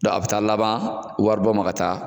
a bi taa laban wari bɔ ma ka taa